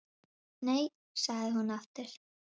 Nei, sagði hún aftur.